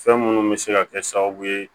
Fɛn minnu bɛ se ka kɛ sababu ye